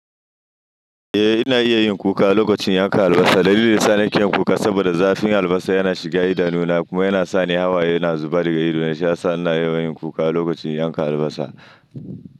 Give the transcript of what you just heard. Eh ina iya yin kuka lokacin yanka albasa, dalili sanin kyan kuka saboda zafin albasa yana shiga idanu na kuma yana sa ni hawaye suna zubar daga ido, shi ya sa ina yawan yin kuka lokacin yanka albasa.